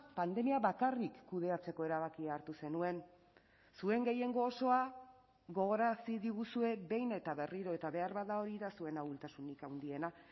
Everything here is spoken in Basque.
pandemia bakarrik kudeatzeko erabakia hartu zenuen zuen gehiengo osoa gogorarazi diguzue behin eta berriro eta beharbada hori da zuen ahultasunik handiena